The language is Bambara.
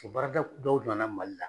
O baaradawɔw na na mali la